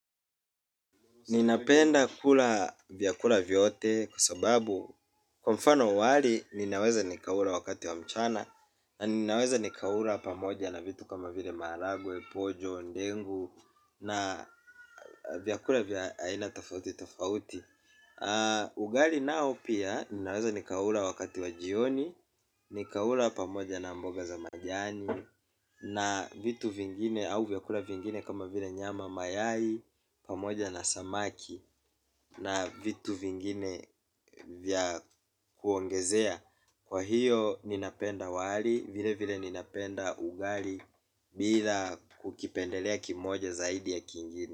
Ninapenda kula vyakula vyote kwa sababu kwa mfano wali ninaweza nikaula wakati wa mchana na ninaweza nikaula pamoja na vitu kama vile maragwe, pojo, ndengu na vyakula vya aina tofauti tofauti. Ugali nao pia ninaweza nikaula wakati wa jioni, nikaula pamoja na mboga za majani na vitu vingine au vyakula vingine kama vile nyama mayai pamoja na samaki. Na vitu vingine vya kuongezea kwa hiyo ninapenda wali vile vile ninapenda ugali. Bila kukipendelea kimoja zaidi ya kingine.